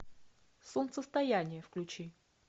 солнцестояние включи